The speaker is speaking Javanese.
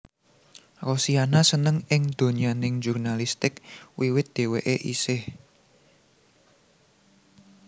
Rosiana seneng ing donyaning jurnalistik wiwit dhèwèké isih